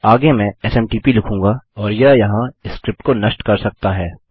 आगे मैं एसएमटीपी लिखूँगा और वह यहाँ स्क्रिप्ट को नष्ट कर सकता है